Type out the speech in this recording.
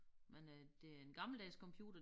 Men øh det er en gammeldags computer